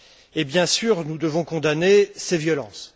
Et, bien sûr, nous devons condamner ces violences.